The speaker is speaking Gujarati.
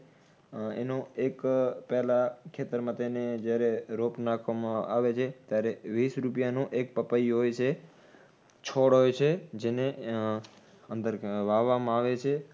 એનો એક પેલા ખેતરમાં તેને જ્યારે રોપ નાખવામાં આવે છે ત્યારે વીસ રૂપિયાનું એક પપૈયું હોય છે, છોડ હોય છે જેને ઉહ અંદર વાવામાં આવે છે